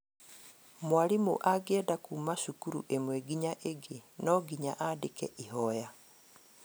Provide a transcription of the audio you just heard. Mwarimũ angĩenda kuma cukuru ĩmwe nginya ĩngĩ no nginya andĩke ihoya